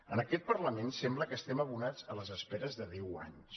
en aquest parlament sembla que estiguem abonats a les esperes de deu anys